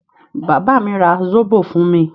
Bàbá mi ra Zobò fún mi.